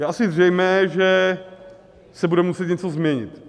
Je asi zřejmé, že se bude muset něco změnit.